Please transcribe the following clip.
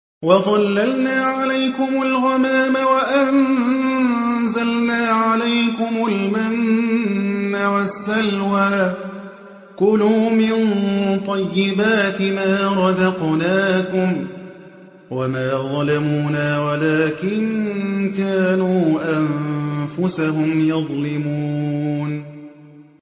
وَظَلَّلْنَا عَلَيْكُمُ الْغَمَامَ وَأَنزَلْنَا عَلَيْكُمُ الْمَنَّ وَالسَّلْوَىٰ ۖ كُلُوا مِن طَيِّبَاتِ مَا رَزَقْنَاكُمْ ۖ وَمَا ظَلَمُونَا وَلَٰكِن كَانُوا أَنفُسَهُمْ يَظْلِمُونَ